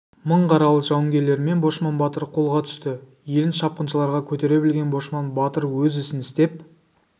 мың қаралы жауынгерлерімен бошман батыр қолға түсті елін шапқыншыларға көтере білген бошман батыр өз ісін істеп